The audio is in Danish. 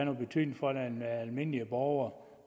nogen betydning for den almindelige borger